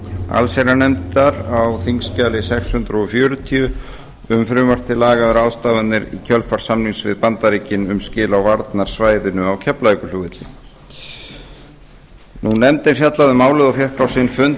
allsherjarnefndar á þingskjali sex hundruð fjörutíu um frumvarp til laga um ráðstafanir í kjölfar samnings við bandaríkin um skil á varnarsvæðinu á keflavíkurflugvelli nefndin hefur fjallað um málið og fengið á sinn fund